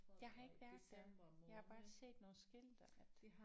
Jeg har ikke været der. Jeg har bare set nogle skilte at